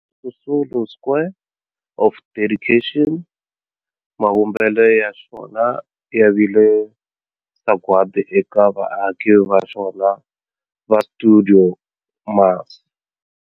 Walter Sisulu Square of Dedication, mavumbelo ya xona ya vile sagwadi eka vaaki va xona va stuidio MAS.